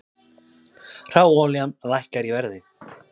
Hráolía lækkar í verði